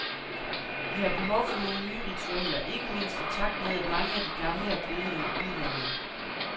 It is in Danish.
Vi har behov for nogle nye ritualer, ikke mindst i takt med, at mange af de gamle er blevet noget udvandede.